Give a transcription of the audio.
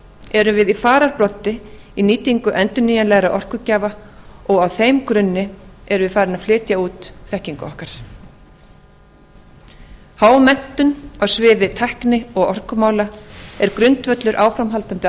erum við í fararbroddi í nýtingu endurnýjanlegra orkugjafa og á þeim grunni erum við farin að flytja út þekkingu okkar hámenntun á sviði tækni og orkumála er grundvöllur áframhaldandi